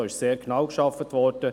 Da wurde sehr genau gearbeitet.